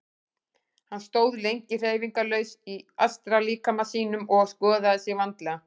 Hann stóð lengi hreyfingarlaus í astrallíkama sínum og skoðaði sig vandlega.